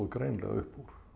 greinilega upp úr